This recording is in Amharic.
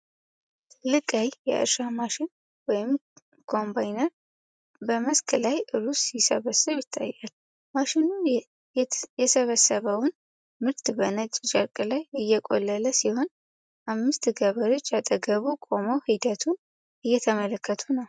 ትልቅ ቀይ የእርሻ ማሽን (ኮምባይነር) በመስክ ላይ ሩዝ ሲሰበስብ ይታያል። ማሽኑ የሰበሰበውን ምርት በነጭ ጨርቅ ላይ እየቆለለ ሲሆን፣ አምስት ገበሬዎች አጠገቡ ቆመው ሂደቱን እየተመለከቱ ነው።